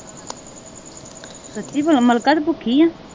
ਸੱਚੀ ਭੈਣਾਂ ਮਲਕਾ ਤੂੰ ਭੁੱਖੀ ਆ?